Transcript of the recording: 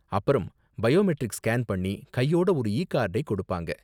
அப்பறம் biometric scan பண்ணி, கையோட ஒரு இ கார்டை கொடுப்பாங்க.